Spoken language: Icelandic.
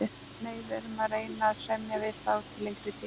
Nei, við erum að reyna að semja við þá til lengri tíma.